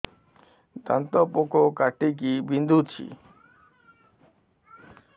ଦାନ୍ତ ପୋକ କାଟିକି ବିନ୍ଧୁଛି